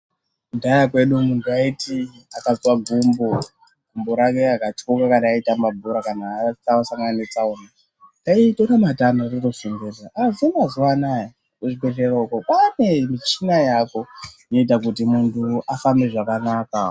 Kudhaya kwedu munthu aiti akazwa gumbo, rake rikatyoka ,kana kuti aitamba bhora .Aiswa matanda kuti aone kufamba asi mazuwa ano kuzvibehlera kwaane michina yaako inoita kuti munthu kuti afambe zvakanaka.